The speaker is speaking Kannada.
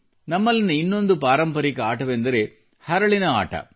ನಮ್ಮಲ್ಲಿನ ಇನ್ನೊಂದು ಪಾರಂಪರಿಕ ಆಟವೆಂದರೆ ಹರಳಿನ ಆಟ